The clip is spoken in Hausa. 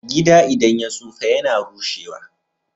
Gida idan ya tsufa yAna rushe wa